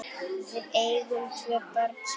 Við eigum tvö börn saman.